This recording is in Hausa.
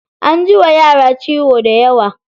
An ji wa yara ciwo dayawa.